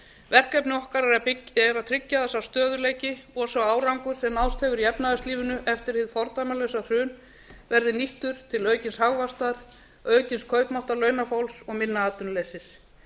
verkefni okkar er að tryggja að sá stöðugleiki og sá árangur sem náðst hefur í efnahagslífinu eftir hið fordæmalausa hrun verði nýttur til aukins hagvaxtar aukins kaupmáttar launafólki og minna atvinnuleysis